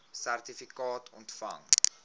sertifikaat ontvang